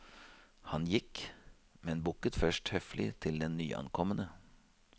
Han gikk, men bukket først høflig til den nyankomne.